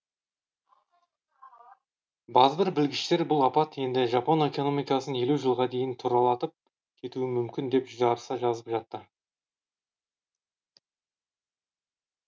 базбір білгіштер бұл апат енді жапон экономикасын елу жылға дейін тұралатып кетуі мүмкін деп жарыса жазып жатты